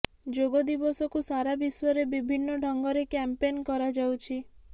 ଯୋଗ ଦିବସକୁ ସାରା ବିଶ୍ୱରେ ବିଭିନ୍ନ ଢଙ୍ଗରେ କ୍ୟାମ୍ପେନ୍ କରାଯାଉଛି